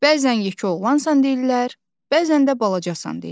Bəzən yekə oğlansan deyirlər, bəzən də balacasan deyirlər.